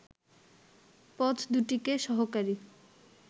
পথদুটিকে সহকারী